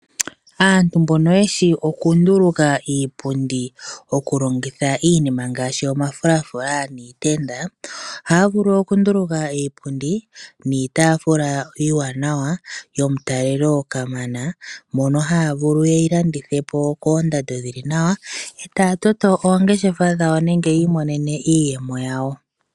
Aantu mbono yeshi okunduluka iipundi okulongitha omafulafula niitenda, ohaya vulu okunduluka iipundi niitafula iiwanawa yomutalelo kamana. Ohaya vulu yeyi landithe po koondando dhili nawa e taya toto oongeshefa dhawo nenge yiimonene iiyemo.